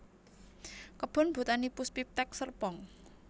Kebon Botani Puspiptek Serpong